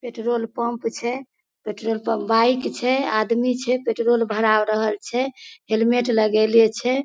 Petrol pump छै petrol pump में bike छै आदमी छै पेट्रोल भरा रहल छै हेलमेट लगेले छै।